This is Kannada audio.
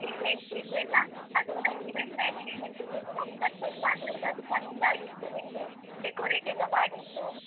Events ಇದ್ದೆಲ್ಲ. ಅದು ನಂಗೆ event management ದೊಂದು number send ಮಾಡು ಆಯ್ತಾ? ಅದು ಚೆಂದಾಗಿತ್ತು ನಿಮ್ದು, decorate ಎಲ್ಲ ಮಾಡಿದ್ದು.